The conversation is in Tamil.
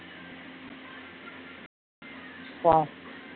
அஹ்